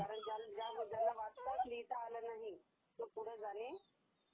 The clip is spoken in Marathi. कारण ज्यांना वाचता लिहीता आले नाही तो पुढे जाणे ...